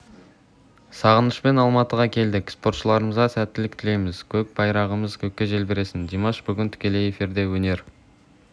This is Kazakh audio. сағынышпен алматыға келдік спортшыларымызға сәттілік тілейміз көк байрағымыз көкте желбіресін димаш бүгін тікелей эфирде өнер